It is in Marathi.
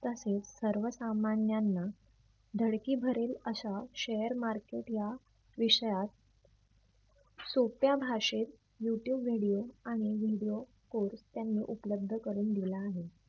तसेच सर्व सामान्यांना धडकी भरेल अश्या share market या विषयात सोप्या भाषेत youtube video आणि video code त्यांनी उपलब्ध करून दिला आहे.